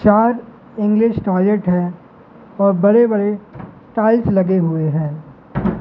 चार English toilet है और बड़े-बड़े टाइल्स लगे हुए हैं।